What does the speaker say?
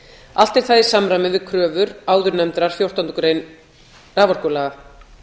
allt er það í samræmi við kröfur áðurnefndrar fjórtándu greinar raforkulaga